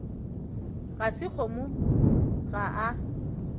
ga se kgomo ga a